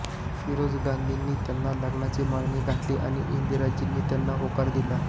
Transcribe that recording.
फिरोज गांधींनी त्यांना लग्नाची मागणी घातली आणि इंदिराजींनी त्यांना होकार दिला